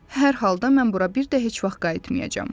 Hər halda mən bura bir də heç vaxt qayıtmayacağam.